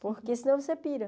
Porque senão você pira.